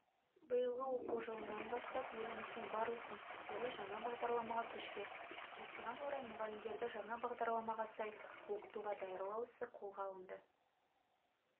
биылғы оқу жылынан бастап еліміздің барлық мектептері жаңа бағдарламаға көшпек осыған орай мұғалімдерді жаңа бағдарламаға сай оқытуға даярлау ісі қолға алынды